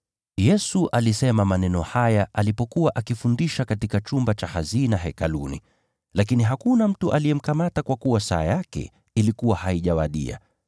Yesu alisema maneno haya alipokuwa akifundisha katika chumba cha hazina Hekaluni. Lakini hakuna mtu aliyemkamata kwa kuwa saa yake ilikuwa haijawadia.